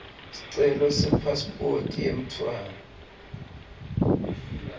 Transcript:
sicelo sepasiphoti yemntfwana